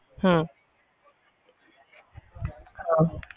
ਹਮ